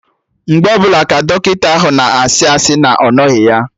Mgbe ọbụla ka Dọkịta ahụ na-asị asị na ọ nọghị ya